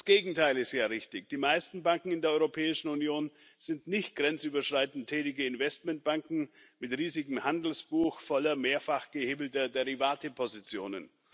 Das Gegenteil ist ja richtig Die meisten Banken in der Europäischen Union sind nicht grenzüberschreitend tätige Investmentbanken mit riesigem Handelsbuch voller mehrfach gehebelter Derivatepositionen.